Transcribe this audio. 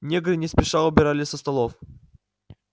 негры не спеша убирали со столов